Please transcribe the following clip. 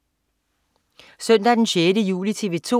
Søndag den 6. juli - TV 2: